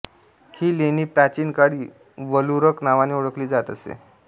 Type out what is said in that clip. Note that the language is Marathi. ही लेणी प्राचीन काळी वलुरक नावाने ओळखली जात असे